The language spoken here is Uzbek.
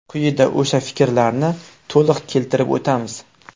Quyida o‘sha fikrlarni to‘liq keltirib o‘tamiz.